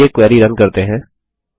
चलिए query run करते हैं